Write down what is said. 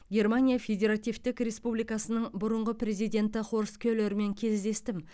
германия федеративтік республикасының бұрынғы президенті хорст келермен кездестім